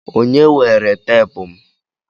Onye weere teepu m.